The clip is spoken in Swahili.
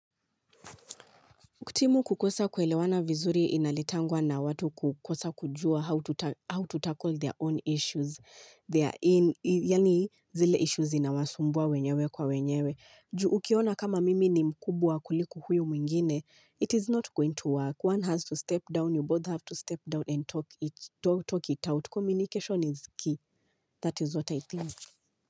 Timu kukosa kuelewana vizuri inaletangwa na watu kukosa kujua how to tackle their own issues their yaani zile issues zinawasumbua wenyewe kwa wenyewe. Juu ukiona kama mimi ni mkubwa kuliko huyu mwingine. It is not going to work. One has to step down. You both have to step down and talk it out. Communication is key. That is what I think.